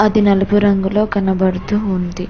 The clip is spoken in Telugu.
అది నలుపు రంగులో కనబడుతూ ఉంది.